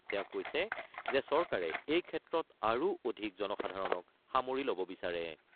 তেওঁ কৈছে যে চৰকাৰে এই ক্ষেত্ৰত আৰু অধিক জনসাধাৰণক সামৰি ল'ব বিচাৰে।